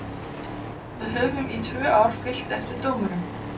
Við höfum í tvö ár fylgt eftir dómurum.